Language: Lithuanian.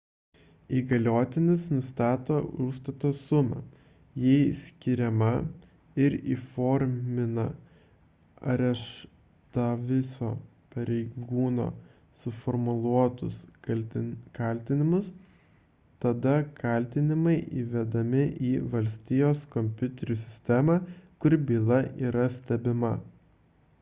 įgaliotinis nustato užstato sumą jei skiriama ir įformina areštavusio pareigūno suformuluotus kaltinimus tada kaltinimai įvedami į valstijos kompiuterių sistemą kur byla yra stebima